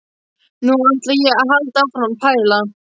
Nú ætla ég að halda áfram að pæla.